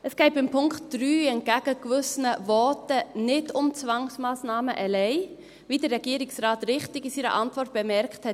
Es geht beim Punkt 3 entgegen gewisser Voten nicht um Zwangsmassnahmen allein, wie der Regierungsrat richtig in seiner Antwort bemerkt hat.